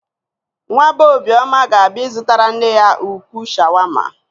Nwa bee Obioma ga-abịa ịzụtara nne ya ukwuu shawama.